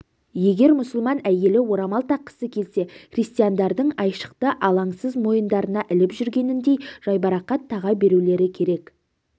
егер мұсылман әйелі орамал таққысы келсе христиандардың айшықты алаңсыз мойындарына іліп жүргеніндей жайбарақат таға берулері керек